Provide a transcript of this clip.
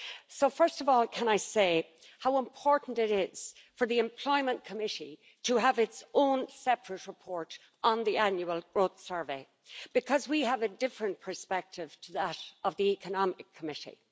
So, first of all, can I say how important it is for the Employment Committee to have its own separate report on the Annual Growth Survey, because we have a different perspective to that of the Economic Committee.